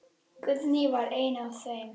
Guðný var ein af þeim.